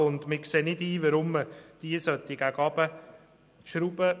Wir sehen nicht ein, weshalb diese nach unten korrigiert werden soll.